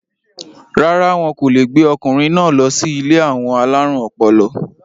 rárá, wọn kò le gbé ọkùnrin náà lọ sí ilé àwọn alárùn ọpọlọ